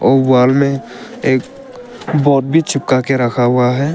और वॉल में एक बॉब भी चिपका के रखा हुआ हैं।